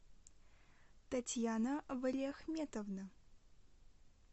татьяна валиахметовна